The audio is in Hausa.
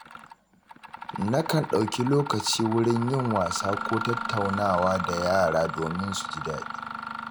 Nakan ɗauki lokaci wurin yin wasa ko tattaunawa da yara domin su ji daɗi.